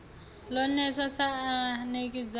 lo newa sa anekidzha b